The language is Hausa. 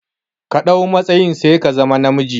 Ka ɗau matsayin sai ka zama na miji